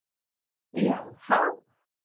Já há!